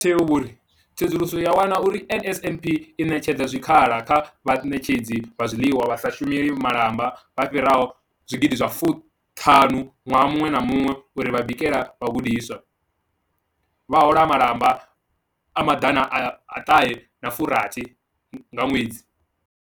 Vho Mathe vho ri, Tsedzuluso yo wana uri NSNP i ṋetshedza zwikhala kha vhaṋetshedzi vha zwiḽiwa vha sa shumeli malamba vha fhiraho zwigidi zwa fuṱhanu ṅwaha muṅwe na muṅwe uri vha bikele vhagudiswa, vha hola malamba a maḓana a ṱhahe a furathi nga ṅwedzi.